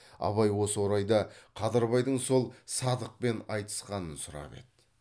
абай осы орайда қадырбайдың сол садықпен айтысқанын сұрап еді